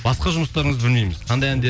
басқа жұмыстарыңызды білмейміз қандай